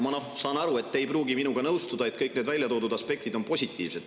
Ma saan aru, et te ei pruugi minuga nõustuda selles, et kõik need väljatoodud aspektid on positiivsed.